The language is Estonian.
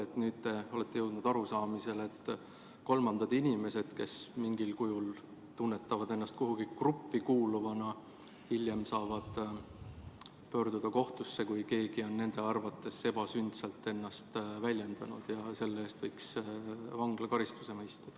Aga nüüd olete jõudnud arusaamisele, et inimesed, kes mingil kujul tunnevad ennast kuhugi gruppi kuuluvana, saavad pöörduda kohtusse, kui keegi on nende arvates ennast ebasündsalt väljendanud, ja et selle eest võiks mõista vanglakaristuse.